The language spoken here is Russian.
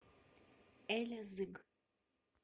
элязыг